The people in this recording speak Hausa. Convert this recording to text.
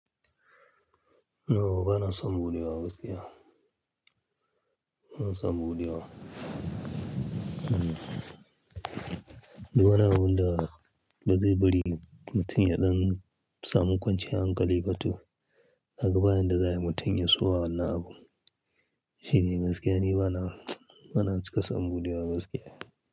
Yauwa bana samu buɗe wa gaskiya? Na samu buɗe wa. Don wani wanda ba zai bari mutum ya ɗan samu kwanciyar hankali ba to haka bayan da za a yi mutum ya so a hana abu. Shi ne gaskiya, ni bana, bana cika samu buɗe wa gaskiya.